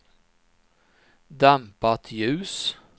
dämpat ljus